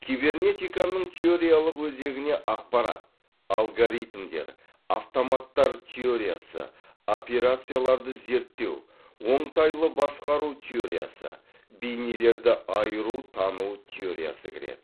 кибернетиканың теориялық өзегіне ақпарат алгоритмдер автоматтар теориясы операцияларды зерттеу оңтайлы басқару теориясы бейнелерді айыру тану теориясы кіреді